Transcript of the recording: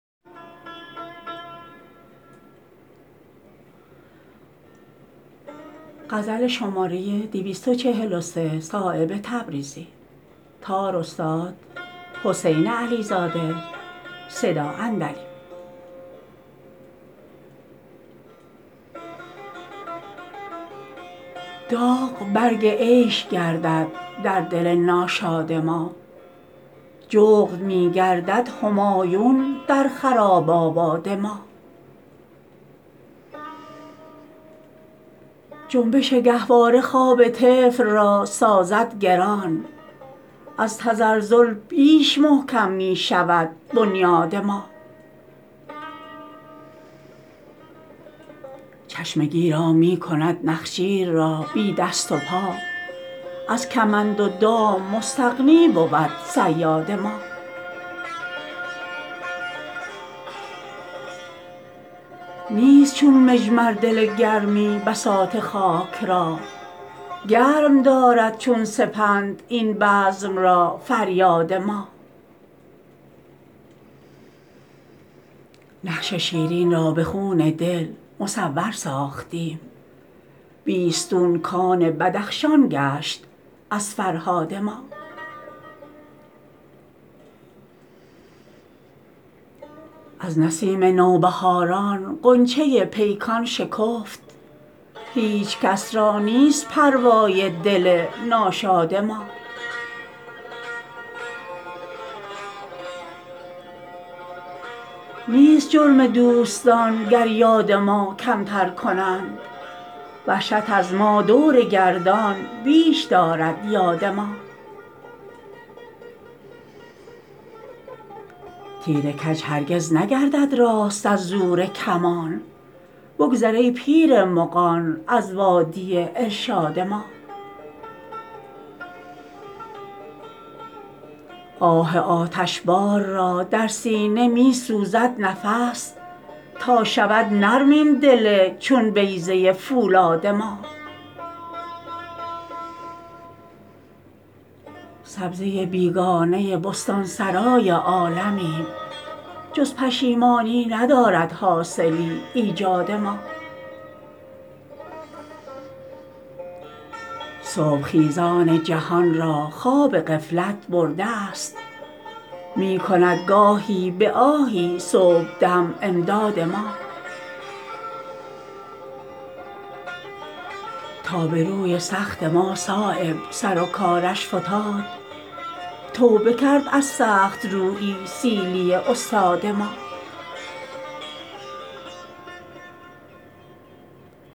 داغ برگ عیش گردد در دل ناشاد ما جغد می گردد همایون در خراب آباد ما جنبش گهواره خواب طفل را سازد گران از تزلزل بیش محکم می شود بنیاد ما چشم گیرا می کند نخجیر را بی دست و پا از کمند و دام مستغنی بود صیاد ما نیست چون مجمر دل گرمی بساط خاک را گرم دارد چون سپند این بزم را فریاد ما نقش شیرین را به خون دل مصور ساختیم بیستون کان بدخشان گشت از فرهاد ما از نسیم نوبهاران غنچه پیکان شکفت هیچ کس را نیست پروای دل ناشاد ما نیست جرم دوستان گر یاد ما کمتر کنند وحشت از ما دور گردان بیش دارد یاد ما تیر کج هرگز نگردد راست از زور کمان بگذر ای پیر مغان از وادی ارشاد ما آه آتشبار را در سینه می سوزد نفس تا شود نرم این دل چون بیضه فولاد ما سبزه بیگانه بستانسرای عالمیم جز پشیمانی ندارد حاصلی ایجاد ما صبح خیزان جهان را خواب غفلت برده است می کند گاهی به آهی صبحدم امداد ما تا به روی سخت ما صایب سر و کارش فتاد توبه کرد از سخت رویی سیلی استاد ما